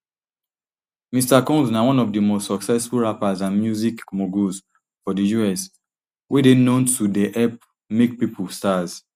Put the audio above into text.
mr combsna one of di most successful rappers and music moguls for di us wey dey known to dey help make pipo stars